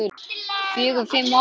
Fjögur, fimm ár.